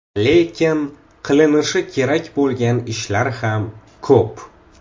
Lekin qilinishi kerak bo‘lgan ishlar ham ko‘p.